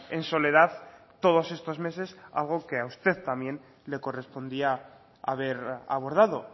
en soledad todos estos meses algo que a usted también le correspondía haber abordado